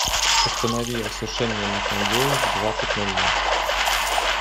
установи осушение на кондее в двадцать ноль ноль